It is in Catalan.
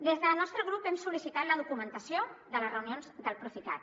des del nostre grup hem sol·licitat la documentació de les reunions del procicat